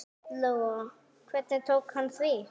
Lóa: Hvernig tók hann því?